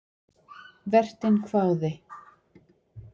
Vertinn hváði.